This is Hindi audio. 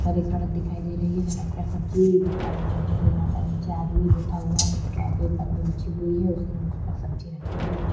सारी सड़क दिखाई दे रही है। सड़क पर सब्जी दिखाई दे रही है। यहां पर नीचे आदमी बैठा हुआ है। उसके आगे एक पन्नी बिछी हुई है। उसने उसपर सब्जी रखी हुई दिखा --